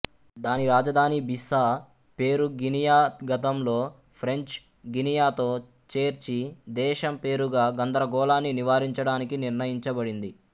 దాని రాజధాని బిస్సా పేరు గినియా గతంలో ఫ్రెంచ్ గినియా తో చేర్చి దేశం పేరుగా గందరగోళాన్ని నివారించడానికి నిర్ణయించబడింది